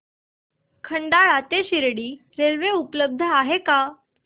खंडाळा ते शिर्डी रेल्वे उपलब्ध आहे का